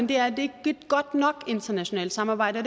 det er et ikke godt nok internationalt samarbejde og